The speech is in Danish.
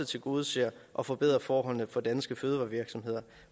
tilgodeser og forbedrer forholdene for danske fødevarevirksomheder